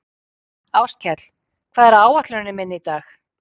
Áskell, hvað er á áætluninni minni í dag?